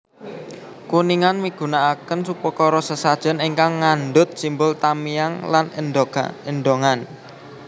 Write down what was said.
Kuningan migunakaken upakara sesajen ingkang ngandhut simbol tamiang lan endongan